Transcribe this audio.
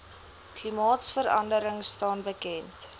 klimaatverandering staan bekend